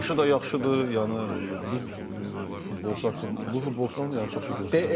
Yaşı da yaxşıdır, yəni bu futbolçu haqqında bu futbolçudan yəni çox şey gözləyirik.